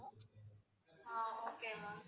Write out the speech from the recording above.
ah okay ma'am